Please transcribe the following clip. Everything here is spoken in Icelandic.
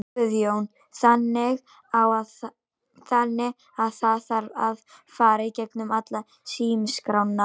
Guðjón: Þannig að það þarf að fara í gegnum alla símaskrána?